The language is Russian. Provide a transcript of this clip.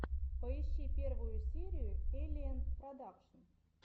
поищи первую серию эллиэнн продакшн